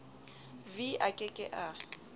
v a ke ke a